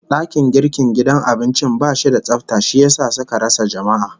Dakin girkin gidan abincin bashi da tsafta, shi yasa suka rasa jama'a